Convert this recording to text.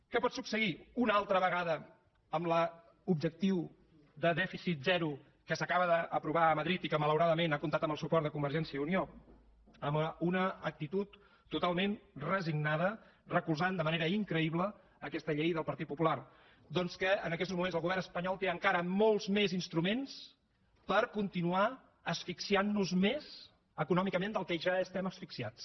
què pot succeir una altra vegada amb l’objectiu de dèficit zero que s’acaba d’aprovar a madrid i que malauradament ha comptat amb el suport de convergència i unió amb una actitud totalment resignada recolzant de manera increïble aquesta llei del partit popular doncs que en aquests moments el govern espanyol té encara molts més instruments per continuar asfixiant nos més econòmicament del que ja estem asfixiats